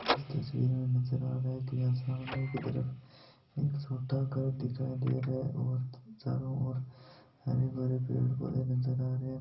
इस तस्वीर में नजर अ रहिया है की यहा सामने की तरफ एक छोटा सा घर नजर आ रहिया है और चारो और हरे भरे पेड़ नजर आ रहे है।